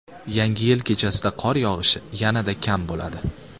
Yangi yil kechasida qor yog‘ishi yanada kam bo‘ladi.